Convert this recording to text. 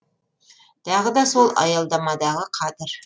тағы да сол аялдамадағы қадір